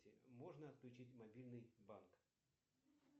можно отключить мобильный банк